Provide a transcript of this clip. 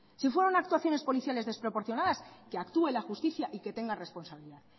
si fueron actuaciones policiales desproporcionadas que actúe la justicia y que tenga responsabilidad